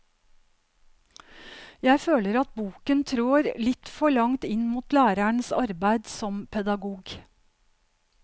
Jeg føler at boken trår litt for langt inn mot lærerens arbeid som pedagog.